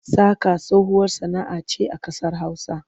Saƙa tsohuwar sana'a ce a ƙasar Hausa.